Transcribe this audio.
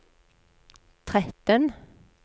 tretten